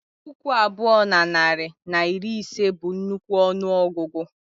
Puku abụọ na narị na iri ise bụ nnukwu ọnụ ọgụgụ